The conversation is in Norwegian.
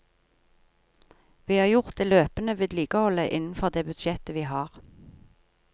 Vi har gjort det løpende vedlikeholdet innenfor det budsjettet vi har.